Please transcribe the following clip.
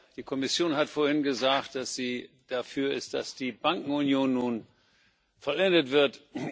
Die Kommission hat vorhin gesagt, dass sie dafür ist, dass die Bankenunion nun vollendet wird.